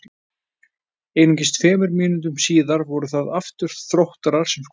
Einungis tveimur mínútum síðar voru það aftur Þróttarar sem skoruðu.